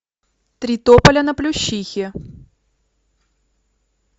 три тополя на плющихе